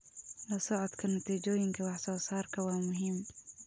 La socodka natiijooyinka wax soo saarka waa muhiim.